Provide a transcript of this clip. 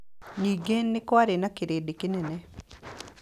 Ningĩ nĩ kwarĩ na kĩrĩndĩ kĩnene.